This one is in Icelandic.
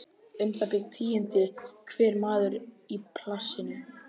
Um það bil tíundi hver maður í plássinu.